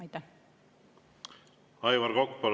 Aivar Kokk, palun!